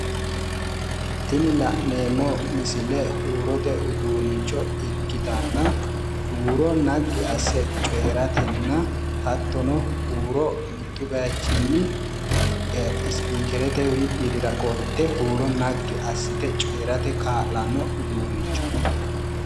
Tinni la'neemo misille huurote uduunicho ikkitanna uuro nagi ase coyiratenna hattono huuro mittu bayichinni spikerete widira qolte uuro nagi asite coyirate kaa'lano uduunnichooti.